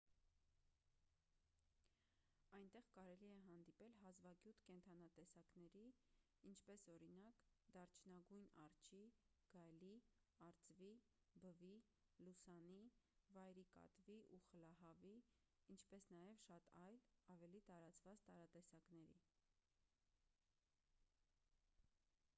այնտեղ կարելի է հանդիպել հազվագյուտ կենդանատեսակների ինչպես օրինակ դարչնագույն արջի գայլի արծվի բվի լուսանի վայրի կատվի և խլահավի ինչպես նաև շատ այլ ավելի տարածված տարատեսակների